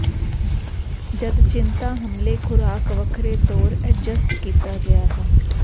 ਜਦ ਚਿੰਤਾ ਹਮਲੇ ਖੁਰਾਕ ਵੱਖਰੇ ਤੌਰ ਐਡਜਸਟ ਕੀਤਾ ਗਿਆ ਹੈ